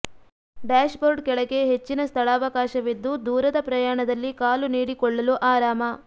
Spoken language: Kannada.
ಡ್ಯಾಶ್ ಬೋರ್ಡ್ ಕೆಳಗೆ ಹೆಚ್ಚಿನ ಸ್ಥಳಾವಕಾಶವಿದ್ದು ದೂರದ ಪ್ರಯಾಣದಲ್ಲಿ ಕಾಲು ನೀಡಿಕೊಳ್ಳಲು ಆರಾಮ